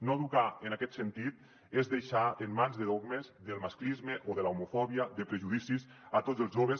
no educar en aquest sentit és deixar en mans de dog·mes del masclisme o de l’homofòbia de prejudicis a tots els joves